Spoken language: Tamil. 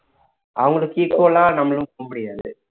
அவங்களுக்கு equal ஆ நம்மளும் போக முடியாது